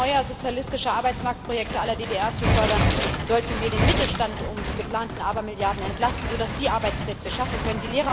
Statt immer neuer sozialistischer Arbeitsmarktprojekte la DDR zu fördern, sollten wir den Mittelstand um die geplanten Abermilliarden entlasten, sodass er Arbeitsplätze schaffen kann.